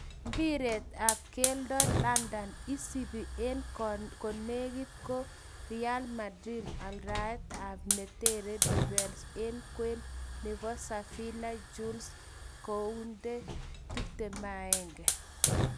Mpiret ap keldo landon:Isipe en konegit kot realmdarid aldaet ap netere defence en kwen nepo sevilla Jules Kounde,21.